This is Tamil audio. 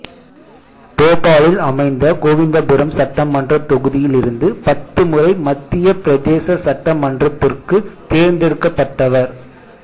போபாலில் அமைந்த கோவிந்தபுரம் சட்டமன்றத் தொகுதியிலிருந்து பத்து முறை மத்தியப் பிரதேச சட்ட மன்றத்திற்குத் தேர்ந்தெடுக்கப்பட்டவர்